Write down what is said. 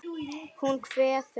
Hún kveður.